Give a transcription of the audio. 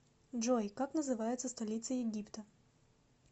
джой как называется столица египта